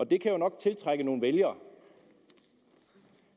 det kan jo nok tiltrække nogle vælgere